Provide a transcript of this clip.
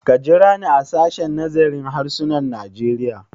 Ka jira ni a sashen nazarin harsunan Najeriya!